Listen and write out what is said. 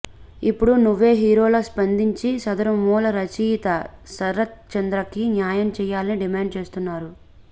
ఇప్పుడు నువ్వే హీరోలా స్పందించి సదరు మూల రచయిత శరత్ చంద్రకి న్యాయం చెయ్యాలని డిమాండ్ చేస్తున్నారు